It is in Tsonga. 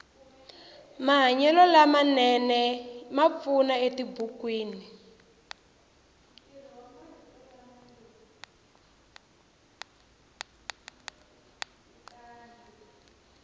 mahanyelo lama nene ma pfuna etibukwini